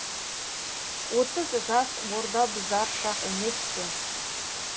отыз жас орда бұзар шақ емес пе